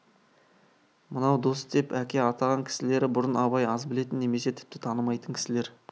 мынау дос деп әке атаған кісілері бұрын абай аз білетін немесе тіпті танымайтын кісілер